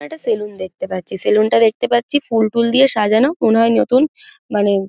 একটা সেলুন দেখতে পাচ্ছি। সেলুন -টা দেখতে পাচ্ছি ফুল ঠুল দিয়ে সাজানো মনে হয় নতুন মানে--